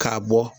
K'a bɔ